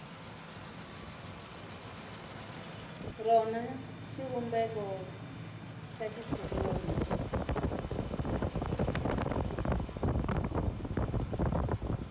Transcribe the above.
rona xivumbeko xa xitshuriwa lexi